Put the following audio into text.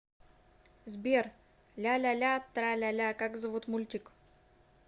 сбер ляляля траляля как зовут мультик